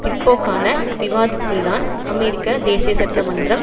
பிற்போக்கான விவாதத்தில்தான் அமெரிக்க தேசியச்சட்ட மன்றம்